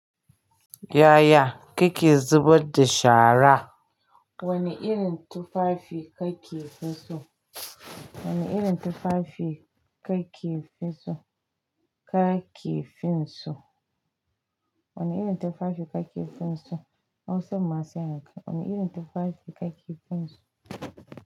Yaya kike zubadda shara? Wani irin tufafi kake fiso? Wani irin tufafi kake fiso? Kake finso? Wani irin tufafi kake finso? Hausa masu yanka. Wani irin tufafi kake finso?